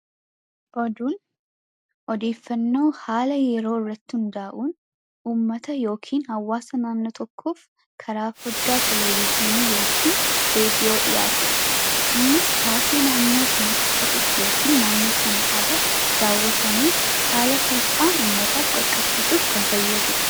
Oduun haala taatee wanta tokko irratti hundaa'uun karaa foddaa Televiziyoonaa yookiin Raadiyoo kan dhiyaatuu dha. Innis haala taatee naannoo Sanaa uummataaf qaqqabsiisuuf kan ooluu dha.